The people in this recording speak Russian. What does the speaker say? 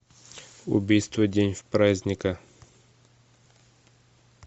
убийство в день праздника